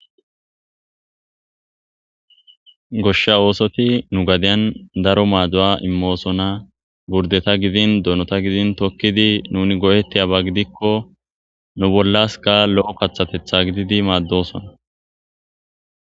goshsha oosoti nu gadiyan daro maadu7a immoosona burdeta gidin donota gidin tokkidi nuni go7etti aba gidikko nu bollas ka lo7o kathatetha gididi maaddosona